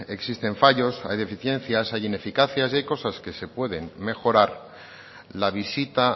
existen fallos hay deficiencias hay ineficacias y hay cosas que se pueden mejorar la visita